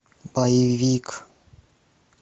боевик